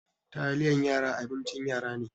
Taliyan yara abincin yara ne.